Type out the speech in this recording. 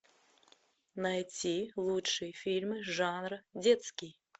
найти лучшие фильмы жанра детский